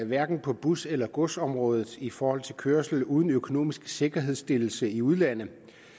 hverken på bus eller godsområdet i forhold til kørsel uden økonomisk sikkerhedsstillelse i udlandet